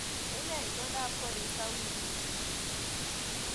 Unee itondab koristo wiikit ni